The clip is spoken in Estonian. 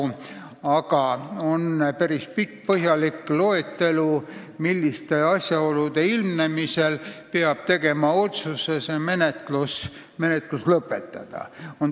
Küll aga on olemas päris pikk ja põhjalik loetelu, milliste asjaolude ilmnemisel peab tegema otsuse see menetlus lõpetada.